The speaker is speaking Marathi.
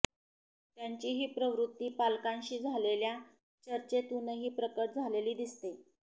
त्यांची ही प्रवृत्ती पालकांशी झालेल्या चर्चेतूनही प्रकट झालेली दिसते